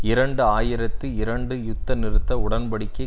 இரண்டு ஆயிரத்தி இரண்டு யுத்த நிறுத்த உடன்படிக்கையை